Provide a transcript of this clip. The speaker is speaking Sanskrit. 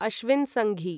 अश्विन् संघी